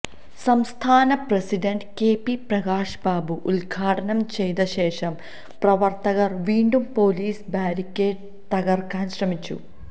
സംസ്ഥാന president K P Prakash Babu ഉദ്ഘാടനം ചെയ്ത ശേഷം പ്രവര്ത്തകര് വീണ്ടും പോലീസ് ബാരിക്കേട് തകര്ക്കാന് ശ്രമിച്ചു